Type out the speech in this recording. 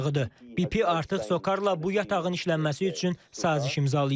BP artıq SOCAR-la bu yatağın işlənməsi üçün saziş imzalayıb.